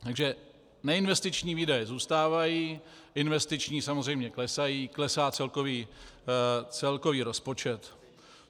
Takže neinvestiční výdaje zůstávají, investiční samozřejmě klesají, klesá celkový rozpočet.